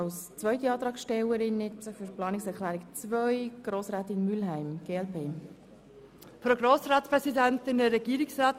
Als Antragstellerin für die Planungserklärung 2 spricht Grossrätin Mülheim für die glp.